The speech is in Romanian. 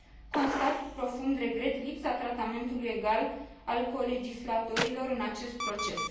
Constat, cu profund regret, lipsa tratamentului egal aplicat colegislatorilor în acest proces.